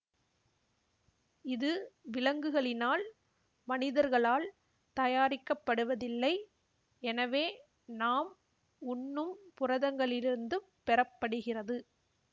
இது விலங்குகளினால்மனிதர்களால் தயாரிக்கப்படுவதில்லை எனவே நாம் உண்ணும் புரதங்களிலிருந்துப் பெறப்படுகிறது